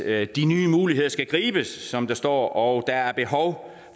at de nye muligheder skal gribes som der står og der er behov